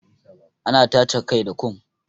Ana tace kai da kom